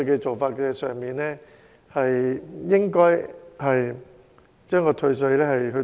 我們是否應該幫助這些人呢？